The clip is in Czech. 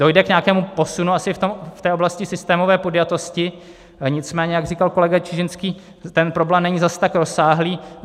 Dojde k nějakému posunu asi v té oblasti systémové podjatosti, nicméně jak říkal kolega Čižinský, ten problém není zas tak rozsáhlý.